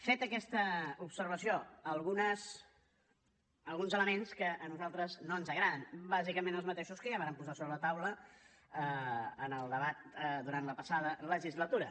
feta aquesta observació alguns elements que a nosaltres no ens agraden bàsicament els mateixos que ja vàrem posar sobre la taula en el debat durant la passada legislatura